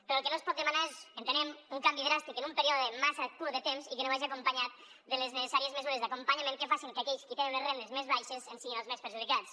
però el que no es pot demanar és entenem un canvi dràstic en un període massa curt de temps i que no vagi acompanyat de les necessàries mesures d’acompanyament que facin que aquells qui tenen unes rendes més baixes en siguin els més perjudicats